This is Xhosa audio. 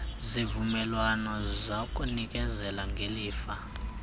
zivumelwano zakunikezela ngelifa